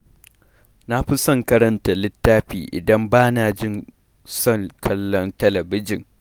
Na fi son karanta littafi idan bana jin son kallon talabijin.